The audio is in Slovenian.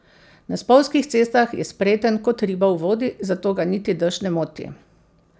Na spolzkih cestah je spreten kot riba v vodi, zato ga niti dež ne moti.